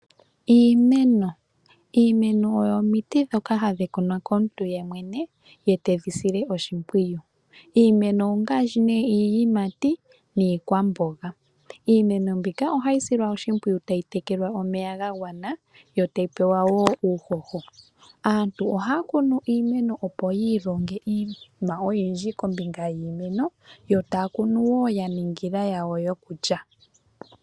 Iimeno, iimeno oyo omiti dhoka hadhi kunwa komuntu ye mwene ye teyi sile oshimpwiyu. Iimeno ongaashi nee iiyimati niikwamboga. Iimeno mbika ohayi silwa oshimpwiyu tayi tekelwa omeya ga gwana, yo tayi pewa wo uuhoho. Aantu ohaya kunu iimeno opo yi ilonge iinima oyindji kombinga yiimeno yo taya kunu wo ya ningila yawo yokulya.